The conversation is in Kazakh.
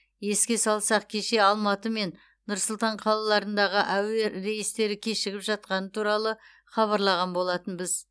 еске салсақ кеше алматы мен нұр сұлтан қалаларындағы әуе рейстері кешігіп жатқаны туралы хабарлаған болатынбыз